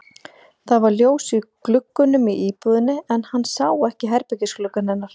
Það var ljós í gluggunum í íbúðinni en hann sá ekki herbergisgluggann hennar.